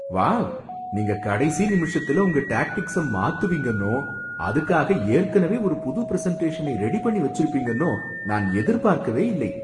Wow! நீங்க கடைசி நிமிஷத்துல உங்க டேக்டிக்ஸ மாத்துவீங்கன்னோ, அதுக்காக ஏற்கனவே ஒரு புது பிரசென்ட்டேஷனை ரெடி பண்ணி வெச்சிருப்பீங்கன்னோ நான் எதிர்பார்க்கவே இல்லை.